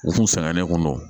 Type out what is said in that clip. U kun sɛgɛnna ne kun don